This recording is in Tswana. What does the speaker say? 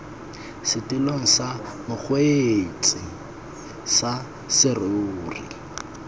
setilong sa mokgweetsi sa serori